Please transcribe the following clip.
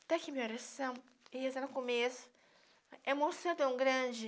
Até que minha oração, e rezando no começo, é uma emoção tão grande.